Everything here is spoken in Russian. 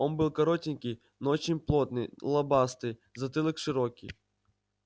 он был коротенький но очень плотный лобастый затылок широкий